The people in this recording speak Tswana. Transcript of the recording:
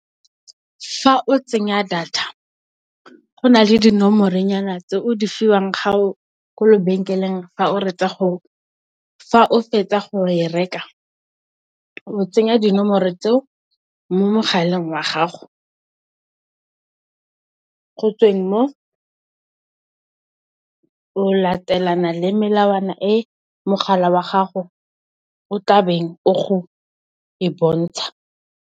Fa o tsenya data go na le dinomoro nyana tse o di fiwang ko lebenkeleng fa o fetsa go e reka, o tsenya dinomoro tseo mo mogaleng wa gago, go tsweng mo, o latelana le melawana e mogala wa gago o tlabeng o go e bontsha.